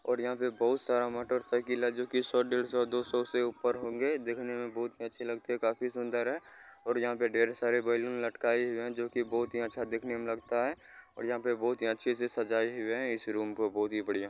और यहाँ पे बहुत सारा मोटरसाइकिल है जो की सो डेढ़सौ दोसो से ऊपर होंगे देखने में बोहोत ही अच्छे लगते है काफी सुन्दर है और यहाँ पे ढेर सारे बैलून लटकाये हए है जो कि बहोत ही अच्छा दिखने में लगता है और यहाँ पे बहोत ही अच्छे से सजाई हुई है इस रूम को बहोत ही बढ़िया।